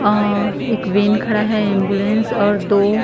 अ एक वेन खड़ा है एंबुलेंस और दो--